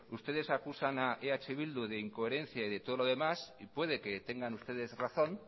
ustedes acusan a eh bildu de incoherencia y de todo lo demás y puede que tengan ustedes razón